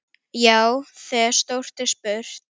Já, þegar stórt er spurt.